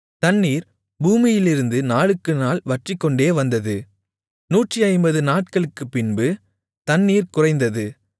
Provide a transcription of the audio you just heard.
தண்ணீர் பூமியிலிருந்து நாளுக்குநாள் வற்றிக்கொண்டே வந்தது 150 நாட்களுக்குப்பின்பு தண்ணீர் குறைந்தது